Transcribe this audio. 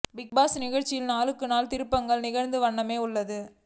big Boss நிகழ்ச்சியில் நாளுக்கு நாள் திருப்பங்களும் நிகழ்ந்த வண்ணமே உள்ளது